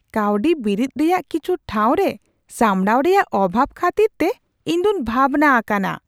ᱠᱟᱶᱰᱤ ᱵᱤᱨᱤᱫ ᱨᱮᱭᱟᱜ ᱠᱤᱪᱷᱩ ᱴᱷᱟᱶᱨᱮ ᱥᱟᱢᱲᱟᱣ ᱨᱮᱭᱟᱜ ᱚᱵᱷᱟᱵᱽ ᱠᱷᱟᱹᱛᱤᱨᱛᱮ ᱤᱧᱫᱩᱧ ᱵᱷᱟᱵᱽᱱᱟ ᱟᱠᱟᱱᱟ ᱾